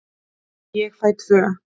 Ég fæ tvö.